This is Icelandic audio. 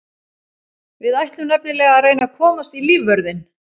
Við ætlum nefnilega að reyna að komast í lífvörðinn.